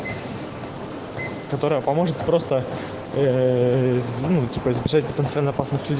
которая поможет просто ну типа потому что